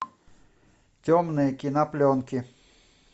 темные кинопленки